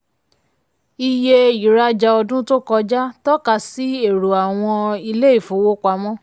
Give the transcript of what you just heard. iye ìrajà ọdún tó kọjá tọ́ka sí èrò àwọn ilé ìfowópamọ́.